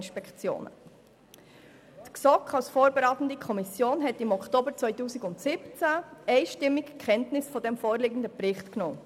Im Oktober 2017 hat die GSoK als vorberatende Kommission einstimmig Kenntnis vom vorliegenden Bericht genommen.